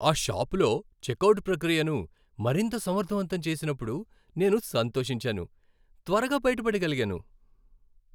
ఆ షాపులో చెక్అవుట్ ప్రక్రియను మరింత సమర్ధవంతం చేసినప్పుడు, నేను సంతోషించాను, త్వరగా బయిటపడగలిగాను.